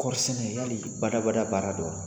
Kɔɔrisɛnɛ yali bada bada baara do wa?